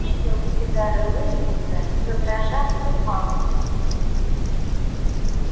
пепел с сигары лэннинга задрожав упал